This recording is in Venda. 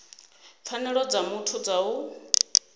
pfanelo dza muthu dza u